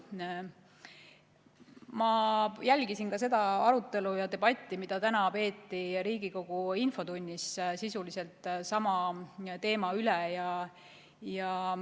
Ma jälgisin seda arutelu ja debatti, mida täna peeti Riigikogu infotunnis sisuliselt sama teema üle.